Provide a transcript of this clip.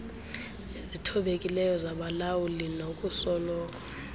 ezithobekileyo zabalawuli nokusoloko